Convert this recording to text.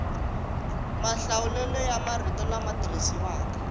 mahlawulelo ya marito lama tirhisiwaka